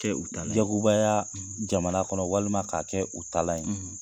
tɛ u tala yagobaya jamana kɔnɔ, walima k'a kɛ u talaan ye..